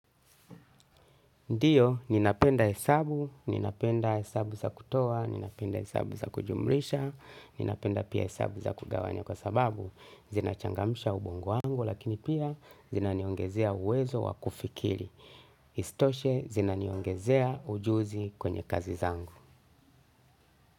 Ndio ninapenda hesabu ninapenda hesabu za kutoa ninapenda hesabu za kujumlisha ninapenda pia hesabu za kugawanya kwa sababu zinachangamsha ubongo wangu na pia zinaniongezea uwezo wa kufikiri. Isitoshe, zinaniongezea ujuzi kwenye kazi zangu.